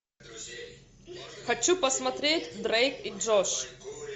хочу посмотреть дрейк и джош